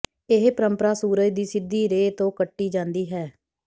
ਇਹ ਪਰੰਪਰਾ ਸੂਰਜ ਦੀ ਸਿੱਧੀ ਰੇ ਤੋਂ ਕੱਟੀ ਜਾਂਦੀ ਹੈ